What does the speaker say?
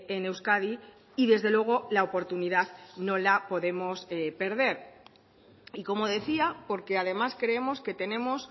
en euskadi y desde luego la oportunidad no la podemos perder y como decía porque además creemos que tenemos